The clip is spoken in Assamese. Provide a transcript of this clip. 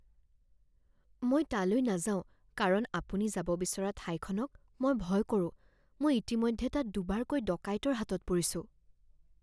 মই তালৈ নাযাওঁ কাৰণ আপুনি যাব বিচৰা ঠাইখনক মই ভয় কৰোঁ। মই ইতিমধ্যে তাত দুবাৰকৈ ডকাইতৰ হাতত পৰিছো